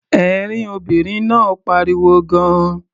Ẹ̀rín obìnrin náà pariwo gan-an.